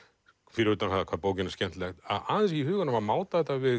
fyrir utan það hvað bókin er skemmtileg að aðeins í huganum að máta þetta við